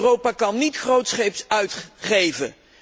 Europa kan niet grootscheeps uitgeven.